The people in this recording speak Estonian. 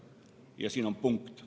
Ja siin on punkt.